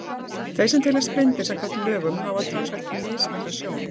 Þeir sem teljast blindir samkvæmt lögum hafa talsvert mismikla sjón.